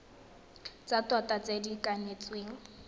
tsa tota tse di kanetsweng